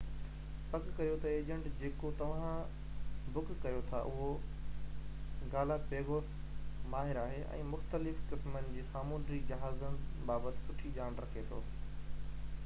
پڪ ڪريو ته ايجنٽ جيڪو توهان بڪ ڪريو ٿا اهو گالاپيگوس ماهر آهي ۽ مختلف قسمن جي سامنونڊي جهازن بابت سٺي ڄاڻ رکي ٿو